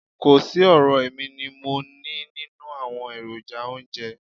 Kò sí ọ̀rọ̀ èmi ni mo nií nínú àwọn èròjà oúnjẹ.